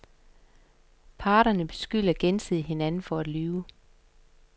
Parterne beskylder gensidigt hinanden for at lyve.